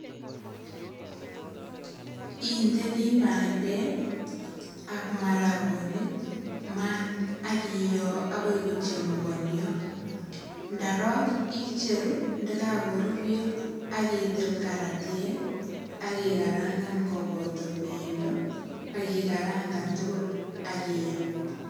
Indeni bandek ak marakonik maat ak iyoo akoi kochemukonyo. Ndarok icheru ndakakaruryo . Ndarok icheru ndakakorurio akitil karatiek ak ikarangan koboto pendo ak ikarangan tugul ak iam.